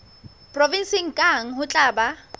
provenseng kang ho tla ba